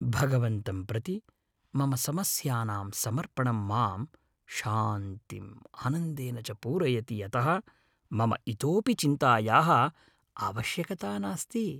भगवन्तं प्रति मम समस्यानां समर्पणम् मां शान्तिम् आनन्देन च पूरयति यतः मम इतोऽपि चिन्तायाः आवश्यकता नास्ति।